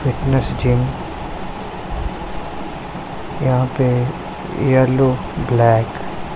fitness gym यहां पे yellow black --